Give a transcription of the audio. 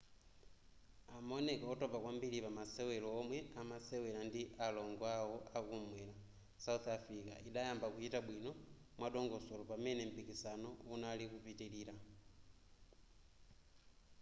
amaoneka otopa kwambiri pamasewero omwe anasewera ndi alongo awo akumwera south africa idayamba kuchita bwino mwadongosolo pamene mpikisano unali kupitilira